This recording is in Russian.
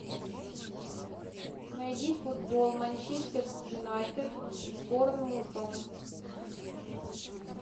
найди футбол манчестер юнайтед с борнмутом